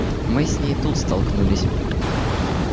мы с ней тут столкнулись